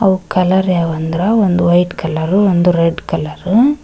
ಅವು ಕಲರ್ ಯಾವ್ ಅಂದ್ರ ಒಂದು ವೈಟ್ ಕಲರ್ ಒಂದು ರೆಡ್ ಕಲರು .